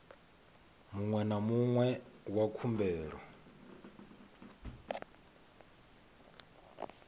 muṅwe na muṅwe wa khumbelo